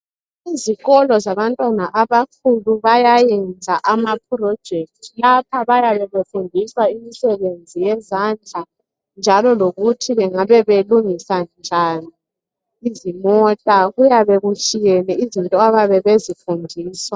Kuzikolo zabantwana abakhulu bayayenza ama project. Lapha bayabe befundiswa imisebenzi yezandla .Njalo lokuthi bengabe belungisa njani izimota .Kuyabe kutshiyene izinto abayabe bezifundiswa .